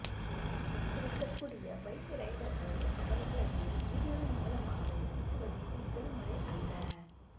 அச்சுறுத்தக்கூடிய bike ரைடர்கள் அவர்களது வீடியோவின் மூலமாகவே சிக்குவது இது முதல்முறை அல்ல